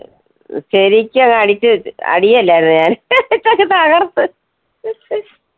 ശെരിക്കും അങ്ങ് അടിച്ചു വി~ അടി അല്ലാരുന്നോ ഞാൻ? അങ്ങ് തകർത്ത്.